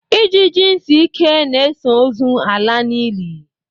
Ijiji ntị ike na-eso ozu ala n'ili.